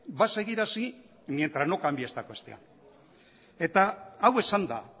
va a seguir así mientras no cambie esta cuestión eta hau esanda